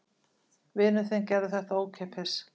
Vinur þinn gerði þetta ókeypis.